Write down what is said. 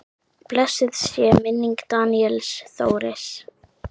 Blessuð sé minning Daníels Þóris.